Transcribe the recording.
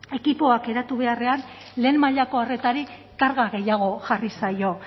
ekipoak eratu beharrean lehen mailako arretarik karga gehiago jarri zaio